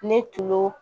Ne tulo